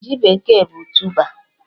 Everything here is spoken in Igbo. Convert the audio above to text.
Ji bekee bụ tụba